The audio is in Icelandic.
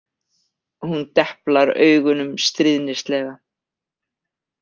Hún deplar augunum stríðnislega.